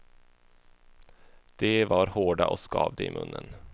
De var hårda och skavde i munnen.